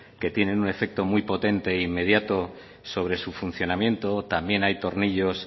que tienen un efecto muy potente e inmediato sobre su funcionamiento también hay tornillos